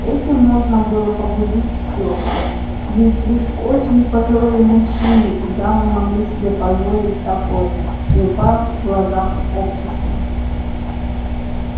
этим можно было погубить всё ведь лишь очень пожилые мужчины и дамы могли себе позволить такое не упав в глазах общества